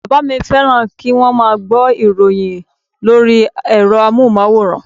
Bàbá mi féràn kíwón má a gbó ìròyin lórí èro amóhùnmáwòrán